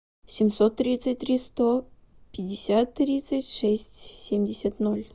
семьсот тридцать три сто пятьдесят тридцать шесть семьдесят ноль